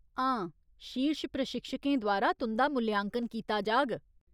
हां, शीर्श प्रशिक्षकें द्वारा तुं'दा मूल्यांकन कीता जाह्ग।